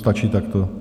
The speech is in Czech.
Stačí takto?